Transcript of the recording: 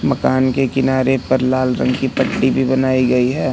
मकान के किनारे पर लाल रंग की पट्टी भी बनाई गई है।